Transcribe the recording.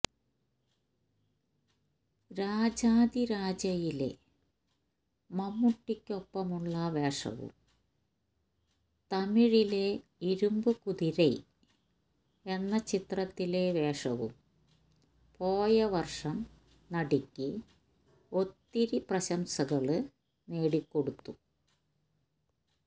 രാജാധി രാജയിലെ മമ്മൂട്ടിയ്ക്കൊപ്പമുള്ള വേഷവും തമിഴിലെ ഇരുമ്പു കുതിരൈ എന്ന ചിത്രത്തിലെ വേഷവും പോയവര്ഷം നടിയ്ക്ക് ഒത്തിരി പ്രശംസകള് നേടിക്കൊടുത്തു